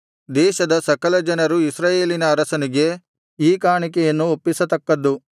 ದೇಶದ ಸಕಲ ಜನರು ಇಸ್ರಾಯೇಲಿನ ಅರಸನಿಗೆ ಈ ಕಾಣಿಕೆಯನ್ನು ಒಪ್ಪಿಸತಕ್ಕದ್ದು